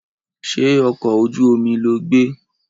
Ṣé ọkọ̀ ojú omi lo gbé?